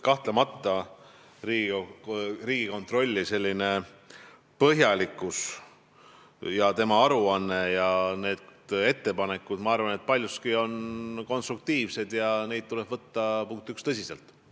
Kahtlemata ma arvan, et Riigikontroll on põhjalik ning tema aruanne ja need ettepanekud on paljuski konstruktiivsed ja neid tuleb võtta tõsiselt.